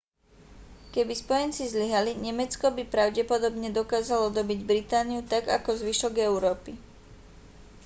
keby spojenci zlyhali nemecko by pravdepodobne dokázalo dobyť britániu tak ako zvyšok európy